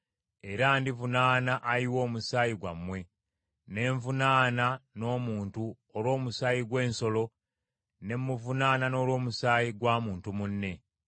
Era ndivunaana ayiwa omusaayi gwammwe ne nvunaana n’omuntu olw’omusaayi gw’ensolo ne muvunaana n’olw’omusaayi gwa muntu munne.